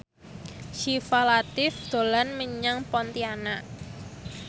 Syifa Latief dolan menyang Pontianak